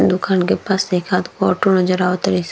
दुकान के पास एकाध गो ऑटो नज़र आवे ताड़े --